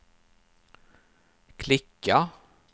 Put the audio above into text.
klicka